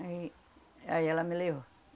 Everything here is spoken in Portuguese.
Aí, aí ela me levou.